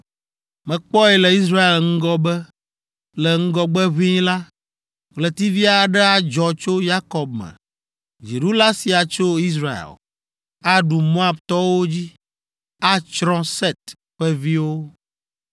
“Mekpɔe le Israel ŋgɔ be, le ŋgɔgbe ʋĩi la, ɣletivi aɖe adzɔ tso Yakob me! Dziɖula sia tso Israel. Aɖu Moabtɔwo dzi; atsrɔ̃ Set ƒe viwo.